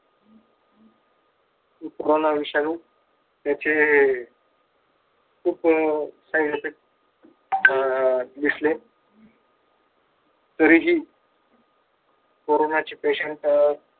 corona विषाणू त्याचे खुप काही घटक अह दिसले तरीही कोरोनाचे patient